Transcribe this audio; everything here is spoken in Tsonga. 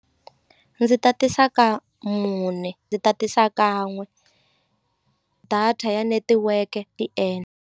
Ndzi tatisa ka mune ndzi tatisa kan'we data ya netiweke .